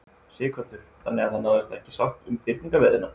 Sighvatur: Þannig að það náist ekki sátt um fyrningarleiðina?